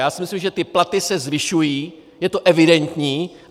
Já si myslím, že ty platy se zvyšují, je to evidentní.